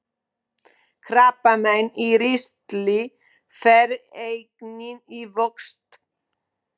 Krabbamein í ristli fer einnig í vöxt.